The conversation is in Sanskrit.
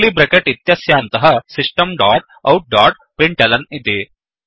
कर्लि ब्रेकेट् इत्यस्यान्तः सिस्टम् डोट् आउट डोट्println इति